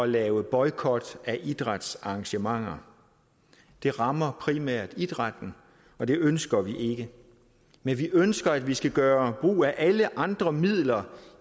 lave boykot af idrætsarrangementer det rammer primært idrætten og det ønsker vi ikke men vi ønsker at vi skal gøre brug af alle andre midler